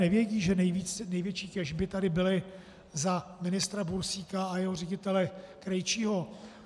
Nevědí, že největší těžby tady byly za ministra Bursíka a jeho ředitele Krejčího.